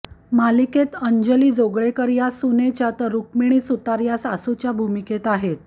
मालिकेत अंजली जोगळेकर या सुनेच्या तर रुक्मिणी सुतार या सासूच्या भूमिकेत आहेत